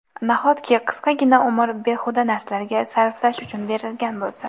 Nahotki qisqagina umr behuda narsalarga sarflash uchun berilgan bo‘lsa?!